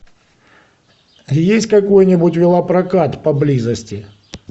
есть какой нибудь велопрокат поблизости